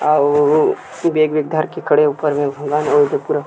अ उ बेग वेग धर के थोड़ा ऊपर म